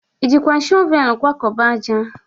Ị jikwa shọvel kwakọba ájá?